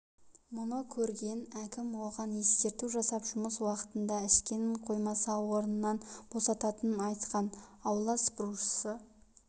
мұны көрген әкім оған ескерту жасап жұмыс уақытында ішкенін қоймаса орнынан босататынын айтқан аула сыпырушы